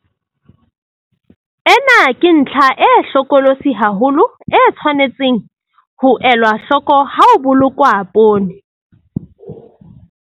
Ena ke ntlha e hlokolosi haholo e tshwanetseng ho elwa hloko ha ho bolokwa poone.